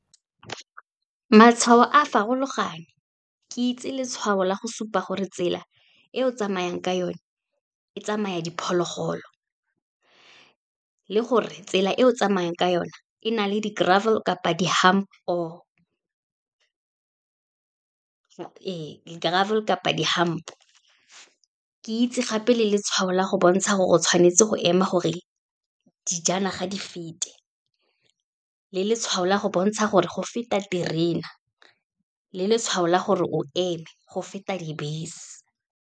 Matshwao a farologane, ke itse letshwao la go supa gore tsela e o tsamayang ka yone e tsamaya diphologolo, le gore tsela e o tsamayang ka yona e na le or, ee di-gravel kapa di-hump. Ke itse gape le letshwao la go bontsha gore, o tshwanetse go ema gore dijanaga di fete, le letshwao la go bontsha gore go feta terena, le letshwao la gore o eme, go feta dibese.